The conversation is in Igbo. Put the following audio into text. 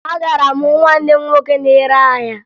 Agara m hụ nwanne m nwoke na-ere ahịa